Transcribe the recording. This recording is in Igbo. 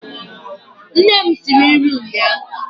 Nne m siri nri ụnyaahụ